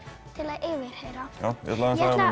til að yfirheyra ég ætla